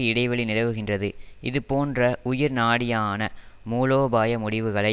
இடைவெளி நிலவுகின்றது இது போன்ற உயிர் நாடியான மூலோபாய முடிவுகளை